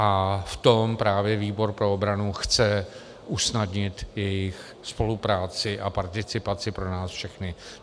A v tom právě výbor pro obranu chce usnadnit jejich spolupráci a participaci pro nás všechny.